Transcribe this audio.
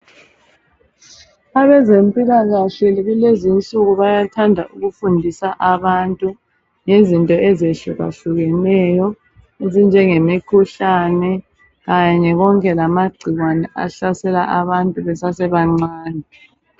Abezempilakahle kulezinsuku bayathanda ukufundisa abantu , ngezinto ezehlukahlukeneyo ezinjenge mikhuhlane kanye konke lamagcikwane ahlasela abantu besasebancane